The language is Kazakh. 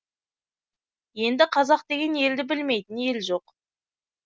енді қазақ деген елді білмейтін ел жоқ